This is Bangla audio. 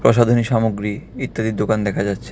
প্রসাধনী সামগ্রী ইত্যাদির দোকান দেখা যাচ্ছে .